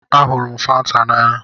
Ahụrụ m Fanta n'anya.